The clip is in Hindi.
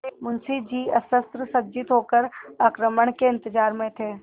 मुंशी जी अस्त्रसज्जित होकर आक्रमण के इंतजार में थे